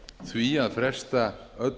því að fresta